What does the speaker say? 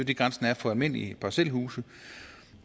det grænsen er for almindelige parcelhuse